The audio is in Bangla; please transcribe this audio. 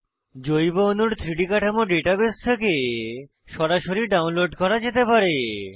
জৈব অণুর 3ডি কাঠামো ডাটাবেস থেকে সরাসরি ডাউনলোড করা যেতে পারে